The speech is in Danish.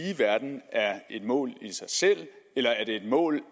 verden er et mål i sig selv eller er det et mål